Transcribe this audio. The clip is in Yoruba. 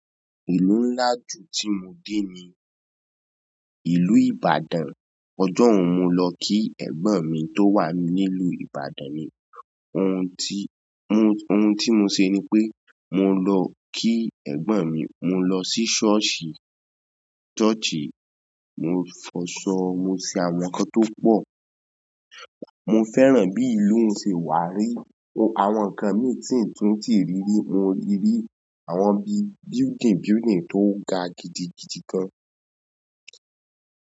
Ìlú ńlá tí mo dé ju ni ìlú Ibadan. Ọjọ́ hun ni mo lọ ki ẹ̀gbọ́n mi tó wà nílu Ibadan. Ohun tí mo ṣe ni pé mo lọ kí ẹ̀gbọ́n mi, mo lọ sí sọ́ọ̀sì, soosi, mo fọṣọ, mo ṣe àwọn ǹkan tó pọ̀. Mo fẹ́ràn bí ìlú mi ṣe wà, rí àwọn ǹkan mìíràn tí n ti rí rí ni mo rí àwọn bí, building building tó ga gidigidi gan.